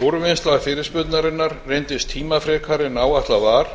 úrvinnsla fyrirspurnarinnar reyndist tímafrekari en ætlað var